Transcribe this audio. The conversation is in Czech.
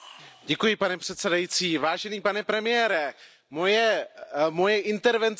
Vážený pane premiére, moje intervence bude mít dvě části.